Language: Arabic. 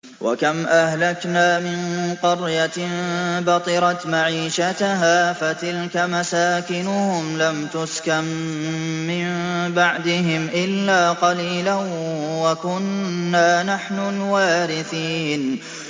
وَكَمْ أَهْلَكْنَا مِن قَرْيَةٍ بَطِرَتْ مَعِيشَتَهَا ۖ فَتِلْكَ مَسَاكِنُهُمْ لَمْ تُسْكَن مِّن بَعْدِهِمْ إِلَّا قَلِيلًا ۖ وَكُنَّا نَحْنُ الْوَارِثِينَ